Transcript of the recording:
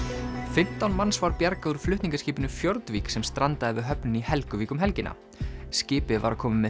fimmtán manns var bjargað úr flutningaskipinu Fjordvik sem strandaði við höfnina í Helguvík um helgina skipið var að koma með